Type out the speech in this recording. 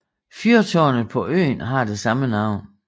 Fyrtårnet på øen har det samme navn